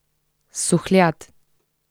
Suhljad.